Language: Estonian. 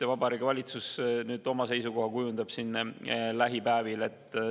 Ja Vabariigi Valitsus kujundab nüüd lähipäevil oma seisukoha.